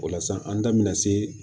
O la san an da bɛna se